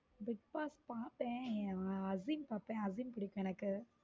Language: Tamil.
Bigboss பாப்பேன் அசிம் பாப்பேன் அஸ்வின் பிடிக்கும் எனக்கு.